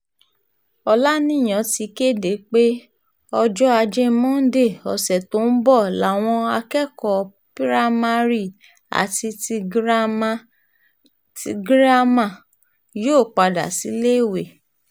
ọ̀làníyàn ti kéde pé ọjọ́ ajé monde ọ̀sẹ̀ tó ń bọ̀ làwọn akẹ́kọ̀ọ́ piramari àti ti girama yóò padà síléèwé